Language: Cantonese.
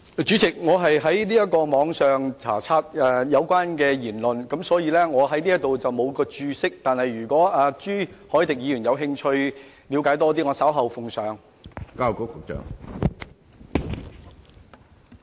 主席，我是在網上查閱有關的言論，我在此沒有註釋，但如果朱凱廸議員有興趣了解更多，我稍後奉上。